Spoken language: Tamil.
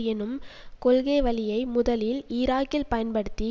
எனும் கொள்கைவழியை முதலில் ஈராக்கில் பயன்படுத்தி